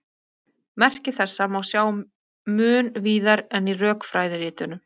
Merki þessa má sjá mun víðar en í rökfræðiritunum.